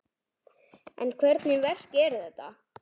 En hvernig verk er þetta?